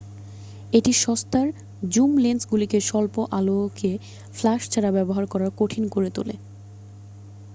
এটি সস্তার জুম লেন্সগুলিকে স্বল্প-আলোকে ফ্ল্যাশ ছাড়া ব্যবহার করা কঠিন করে তোলে